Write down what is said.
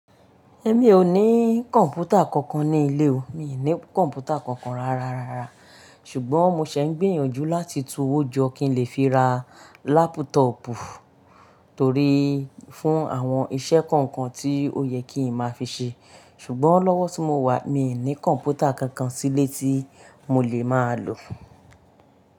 Ẹ̀mí ò ní kọ̀ǹpútà kankan ní ilé o. Mi ò ní kọ̀ǹpútà kankan ráráa, ráráa. Ṣùgbọ́n mo ṣẹ̀ ń gbìyànjú láti túwó jọ kí n lè fi ra lápútọọ̀pù torí fún àwọn iṣẹ́ kọ̀ọ̀kan tí ó yẹ kí ń máa fi ṣe. Ṣùgbọ́n lọ́wọ́ tí mo wà, mi ò ní kọ̀ǹpútà kankan sílé tí mo lè máa lò.